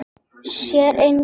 Sér engan.